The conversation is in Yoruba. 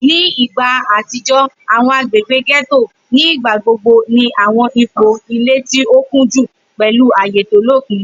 Ni igba atijọ, awọn agbegbe getto nigbagbogbo ni awọn ipo ile ti o kunju, pẹlu aaye to lopin.